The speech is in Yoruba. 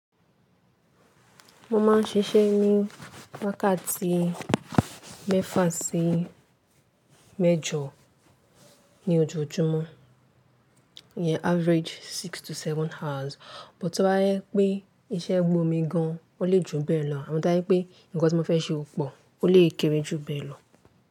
Mo mas ń ṣiṣẹ́ ní wákàtí mẹ́fà sí mẹ́jọ ní ojoojúmọ́, iyẹn average six to seven hours. Bò to bá jẹ pé iṣẹ́ gbómi gan an, ó lè jù bẹ́ẹ̀ lọ àmọ́ to bá jẹ pé ǹkan tí mo fẹ́ ṣe ò pò, ó lè kéré jù bẹ́ẹ̀ lọ.